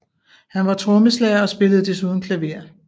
Han var trommeslager og spillede desuden klaver